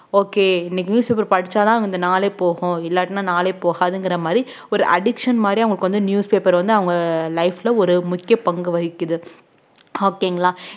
okay இன்னைக்கு newspaper படிச்சாதான் இந்த நாளே போகும் இல்லாட்டின்னா நாளே போகாதுங்கிற மாரி ஒரு addiction மாறி அவங்களுக்கு வந்து newspaper வந்து அவுங்க life ல ஒரு முக்கிய பங்கு வகிக்குது okay ங்களா